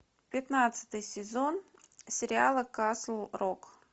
пятнадцатый сезон сериала касл рок